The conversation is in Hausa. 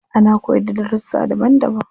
Ana koyarda da darussa daban daban.